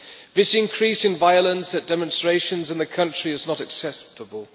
This increase in violence at demonstrations in the country is not acceptable.